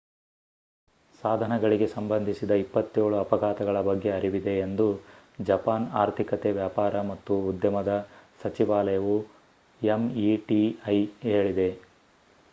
ಸಾಧನಗಳಿಗೆ ಸಂಬಂಧಿಸಿದ 27 ಅಪಘಾತಗಳ ಬಗ್ಗೆ ಅರಿವಿದೆ ಎಂದು ಜಪಾನ್ ಆರ್ಥಿಕತೆ ವ್ಯಾಪಾರ ಮತ್ತು ಉದ್ಯಮದ ಸಚಿವಾಲಯವು ಎಂಇಟಿಐ ಹೇಳಿದೆ